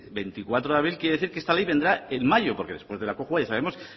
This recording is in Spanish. veinticuatro de abril quiere decir que esta ley vendrá en mayo porque después de la cojua ya sabemos